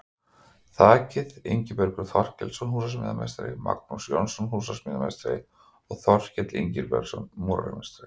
Þakið: Ingibergur Þorkelsson, húsasmíðameistari, Magnús Jónsson, húsasmíðameistari og Þorkell Ingibergsson, múrarameistari.